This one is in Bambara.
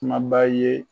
Kumaba ye